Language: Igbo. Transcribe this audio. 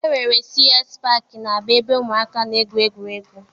E nwere CS paakị n'Aba ebe ụmụaka na-egwu egwuregwu.